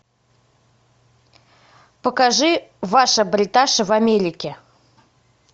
покажи ваша бриташа в америке